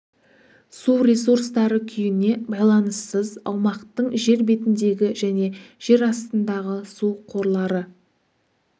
су ресурстары күйіне байланыссыз аумақтың жер бетіндегі және жер астындағы су қорлары